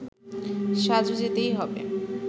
সাজু যেতেই হবে